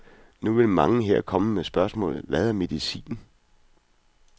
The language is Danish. Nu vil mange her komme med spørgsmålet, hvad er medicin?